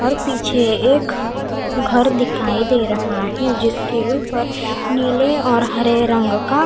और पीछे एक घर दिखाई दे रहा है जिसके ऊपर नीले और हरे रंग का--